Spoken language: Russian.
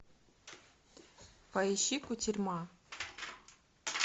поищи кутерьма